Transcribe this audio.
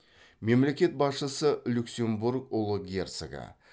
мемлекет басшысы люксембург ұлы герцогі